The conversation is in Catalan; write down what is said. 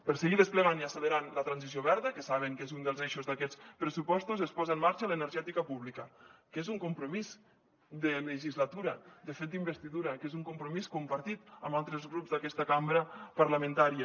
per seguir desplegant i accelerant la transició verda que saben que és un dels eixos d’aquests pressupostos es posa en marxa l’energètica pública que és un compromís de legislatura de fet d’investidura que és un compromís compartit amb altres grups d’aquesta cambra parlamentària